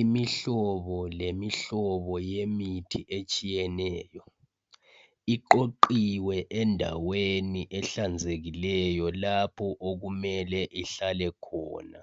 imihlobo lemihlobo yemithi iqoqiwe endaweni ehlanzekileyo lapho okumele ihlale khona